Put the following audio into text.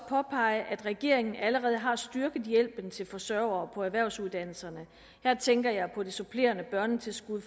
påpege at regeringen allerede har styrket hjælpen til forsørgere på erhvervsuddannelserne her tænker jeg på det supplerende børnetilskud